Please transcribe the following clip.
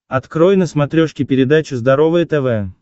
открой на смотрешке передачу здоровое тв